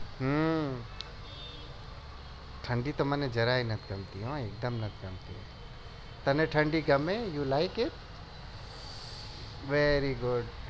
હા ઠંડી તો મને જયાર એ નથી ગમતી તને ઠંડી ગમે you like it very good